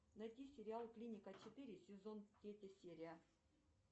найти сериал клиника четыре сезон третья серия